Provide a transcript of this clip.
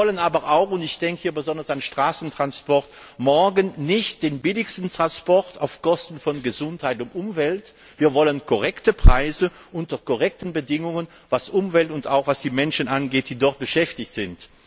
Wir wollen aber auch und ich denke hier besonders an Straßenverkehr morgen nicht den billigsten Transport auf Kosten von Gesundheit und Umwelt, sondern wir wollen korrekte Preise unter korrekten Bedingungen, was die Umwelt und auch die Menschen angeht, die dort beschäftigt sind.